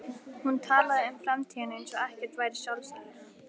Hún talaði um framtíðina eins og ekkert væri sjálfsagðara.